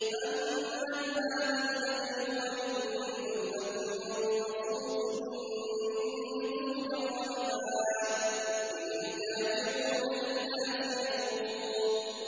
أَمَّنْ هَٰذَا الَّذِي هُوَ جُندٌ لَّكُمْ يَنصُرُكُم مِّن دُونِ الرَّحْمَٰنِ ۚ إِنِ الْكَافِرُونَ إِلَّا فِي غُرُورٍ